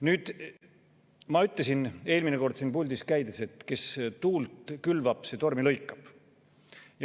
Nüüd, ma ütlesin eelmine kord siin puldis käies, et kes tuult külvab, see tormi lõikab.